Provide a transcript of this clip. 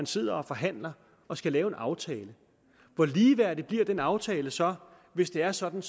sidder og forhandler og skal lave en aftale hvor ligeværdig bliver den aftale så hvis det er sådan